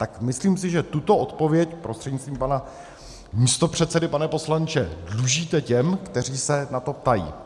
Tak myslím si, že tuto odpověď, prostřednictvím pana místopředsedy pane poslanče, dlužíte těm, kteří se na to ptají.